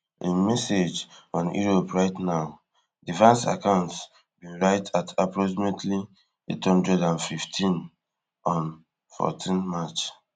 im message on europe right now di vance account bin write at approximately eight hundred and fifteen on fourteen march